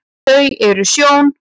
þau eru sjón